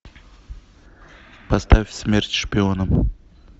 поставь смерть шпионам